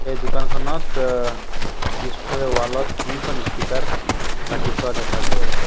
এই দোকানখনত অ পিছফালে ৱাল ত তিনিখন ইস্পিকাৰ ৰাখি থোৱা দেখা গৈ আছে।